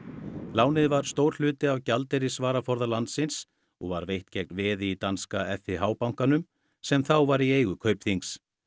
lánið var stór hluti af gjaldeyrisvaraforða landsins og var veitt gegn veði í danska bankanum sem þá var í eigu Kaupþings